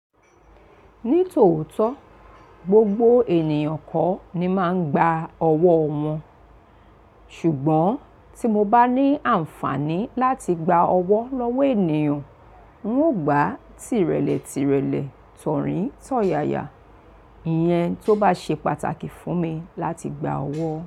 Ní tòótọ́, gbogbo ènìyàn kọ́ ni máa ń gba ọwọ́ wọn, ṣùgbọ́n tí mo bá ní àǹfààní láti gba owo lọ́wọ́ ènìyàn, ń ò gbà tíìrẹlẹ̀ tìrẹlẹ̀, tọ̀rín tọ̀yàyà, ìyẹn tó bá ṣe pàtàkì fún mi láti gba owo.